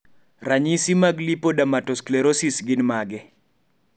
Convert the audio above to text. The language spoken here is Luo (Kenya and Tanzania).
ranyisi mag lipodermatosclerosis gin mage?